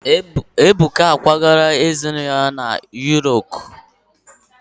Ebuka akwagala ezinụlọ ya na Yuropu.